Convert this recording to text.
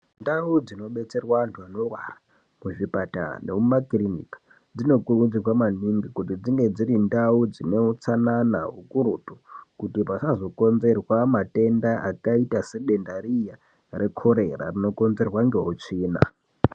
Ndau dzinobetserwa antu anorwara kuzvipatara nemumakirimika. Dzinokurudzirwa maningi kuti dzinge dziri ndau dzine utsanana ukurutu. Kuti pasazokonzerwa matenda akaita sedenda riya rekorera rinokonzerwa ngeutsvina.